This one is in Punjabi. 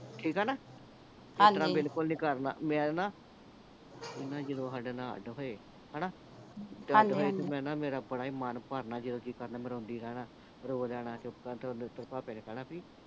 ਠੀਕ ਆ ਨਾ ਇਸਤਰਾਂ ਬਿਲਕੁਲ ਨਹੀਂ ਕਰਨਾ ਮੈਂ ਨਾ ਇਹ ਜਦੋਂ ਸਾਡੇ ਨਾਲ ਅੱਡ ਹੋਏ ਹਣਾ ਤੇ ਅੱਡ ਹੋਏ ਤੇ ਮੈਂ ਨਾ ਮੇਰਾ ਨਾ ਬੜਾ ਹੀ ਮਨ ਭਰਨਾ ਜਦੋਂ ਜੀ ਕਰਨਾ ਰੋਂਦੀ ਰਹਿਣ ਰੋ ਲੈਣਾ ਚੁੱਪ ਕਰਕੇ ਤੇ ਭਾਪੇ ਨੇ ਕਹਿਣਾ ਬੀ